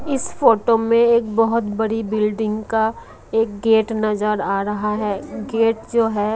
इस फोटो में एक बहोत बड़ी बिल्डिंग का एक गेट नजर आ रहा है। गेट जो है--